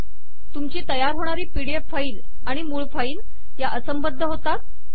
तुमची तयार होणारी पीडीएफ फाईल आणि मूळ फाईल या असंबद्ध होतात